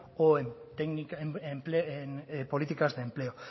o en políticas de empleo